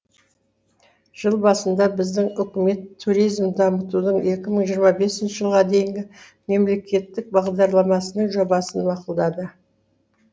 жыл басында біздің үкімет туризмді дамытудың екі мың жиырма бес жылға дейінгі мемлекеттік бағдарламасының жобасын мақұлдады